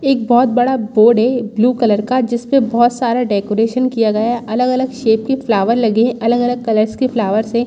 एक बहुत बड़ा बोर्ड हैं ब्लू कलर का जिसमे बोहत सारा डेकोरेशन किया गया हैं अलग-अलग शेप के फ्लावर्स लगे हैं अलग-अलग कलर्स के फ्लावर्स हैं।